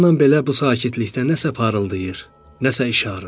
Bundan belə bu sakitlikdə nəsə parıldayır, nəsə işarır.